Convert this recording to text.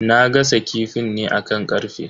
Na gasa kifin ne akan karfe.